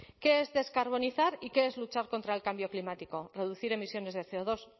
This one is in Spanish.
qué es descarbonizar y qué es luchar contra el cambio climático producir emisiones de ce o dos